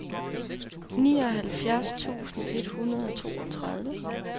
nioghalvfjerds tusind et hundrede og toogtredive